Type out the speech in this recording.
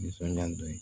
Nisɔndiya nin dɔn